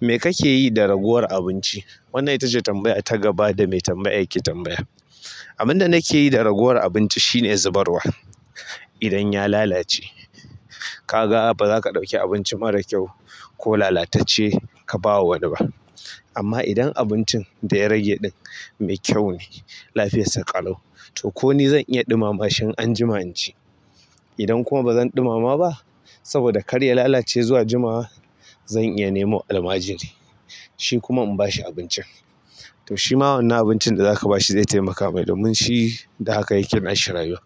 Me kake yi da raguwar abinci? Wannan itace tambaya ta gaba da mai tambayar yake tambaya. Abin da nake yi da ragowar abinci shine zubarwa idan ya lalace, ka ga ba za ka ɗauki abinci mara kyau ko lalatacce ka ba wa wani ba. Amma idan abincin da ya rage ɗin mai kyau ne, lafiyarsa ƙalau, to ko ni zan iya ɗumama shi anjima in ci. Idan kuma ba zan ɗumama ba saboda karye ya lalace zuwa jima'a, zan iya nemo almajiri, shi kuma in ba shi abincin. To shi ma wannan abincin da za ka ba shi zai taimaka mai domin shi, da haka ya ƙe nashi rayuwa.